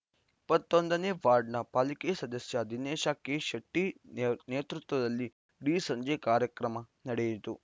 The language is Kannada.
ಇಪ್ಪತ್ತ್ ಒಂದನೇ ವಾರ್ಡ್‌ನ ಪಾಲಿಕೆ ಸದಸ್ಯ ದಿನೇಶ ಕೆಶೆಟ್ಟಿನೇತೃತ್ವದಲ್ಲಿ ಇಡೀ ಸಂಜೆ ಕಾರ್ಯಕ್ರಮ ನಡೆಯಿತು